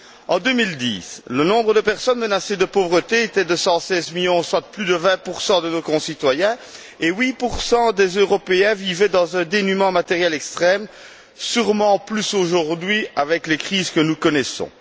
En 2010, le nombre de personnes menacées de pauvreté était de 116 millions, soit plus de 20 de nos concitoyens et 8 des Européens vivaient dans un dénuement matériel extrême, sûrement plus aujourd'hui avec les crises que nous connaissons.